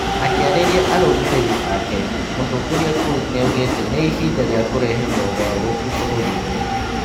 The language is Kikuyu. Akĩarĩria arũmĩrĩri ake Mũtongoria Kuz nĩaugĩte "nĩihinda rĩa kũrehe moogarũrũku bũrũri-inĩ